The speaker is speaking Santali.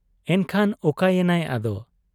ᱮᱱᱠᱷᱟᱱ ᱚᱠᱟᱭᱮᱱᱟᱭ ᱟᱫᱚ ?